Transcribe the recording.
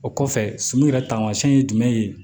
O kɔfɛ suman yɛrɛ taamasiyɛn ye jumɛn ye